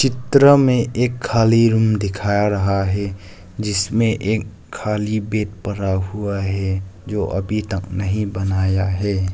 त्र में एक खाली रुम दिखा रहा है जिसमें एक खाली बेड पड़ा हुआ है जो अभी तक नहीं बनाया है।